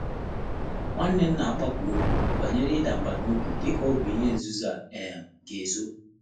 Nwá nnè m nà-àkpákwù òkwú bànyèrè ị́dà mbà n’óbí dị́kà ọ́ bụ́ ìhè nzùzò á um gà-èzò.